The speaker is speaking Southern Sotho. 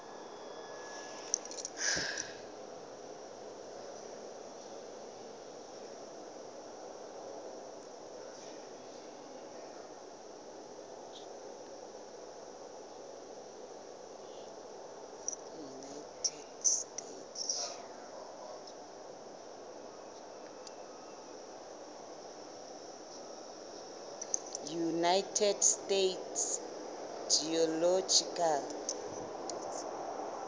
united states geological